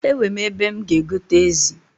Ewe ebe m ga egote ezi?